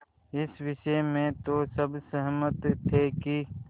इस विषय में तो सब सहमत थे कि